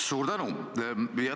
Suur tänu!